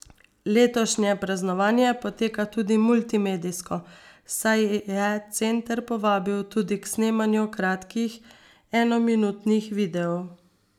Letošnje praznovanje poteka tudi multimedijsko, saj je center povabil tudi k snemanju kratkih enominutnih videov.